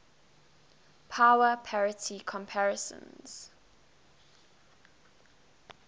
power parity comparisons